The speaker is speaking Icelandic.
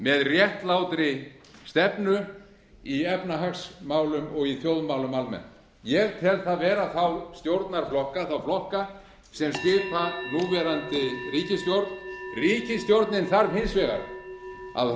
með réttlátri stefnu í efnahagsmálum og í þjóðmálum almennt ég tel það vera þá stjórnarflokka þá flokka sem skipa núverandi ríkisstjórn ríkisstjórnin þarf hins vegar að